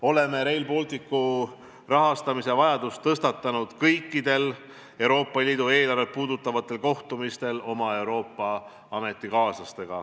Oleme Rail Balticu rahastamise vajaduse teema tõstatanud kõikidel Euroopa Liidu eelarvet puudutavatel kohtumistel, millel on osalenud ka meie Euroopa ametikaaslased.